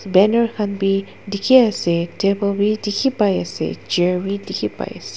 banner khan bi dikhi ase table bi dikhipaiase chair wii dikhipai ase.